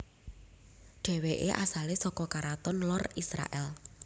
Dhèwèké asalé saka karaton lor Israèl